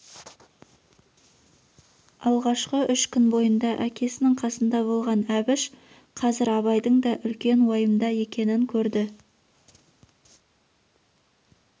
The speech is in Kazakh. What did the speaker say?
алғашқы үш күн бойында әкесінің қасында болған әбіш қазір абайдың да үлкен уайымда екенін көрді